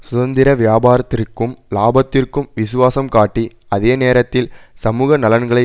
சுதந்திர வியாபாரத்திற்கும் இலாபத்திற்கும் விசுவாசம் காட்டி அதே நேரத்தில் சமூக நலன்களை